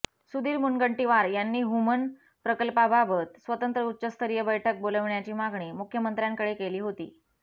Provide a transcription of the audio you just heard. सुधीर मुनगंटीवार यांनी हूमन प्रकल्पाबाबत स्वतंत्र उच्चस्तरीय बैठक बोलाविण्याची मागणी मुख्यमंत्र्यांकडे केली होती